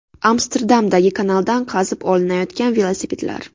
Amsterdamdagi kanaldan qazib olinayotgan velosipedlar.